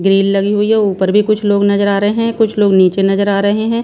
Grill लगी हुई है ऊपर भी कुछ लोग नजर आ रहे हैं कुछ लोग नीचे नजर आ रहे हैं।